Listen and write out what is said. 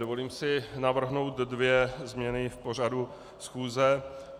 Dovolím si navrhnout dvě změny v pořadu schůze.